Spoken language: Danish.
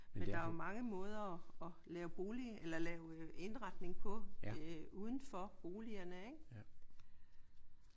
Men der er jo mange måder at lave bolig eller at lave indretning på udenfor boligerne ik?